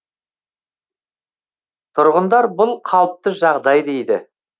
тұрғындар бұл қалыпты жағдай дейді